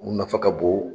U nafa ka bon